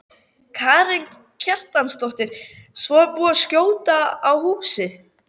Karen Kjartansdóttir: Svo er búið að skjóta á húsið?